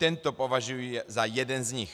Tento považuji za jeden z nich.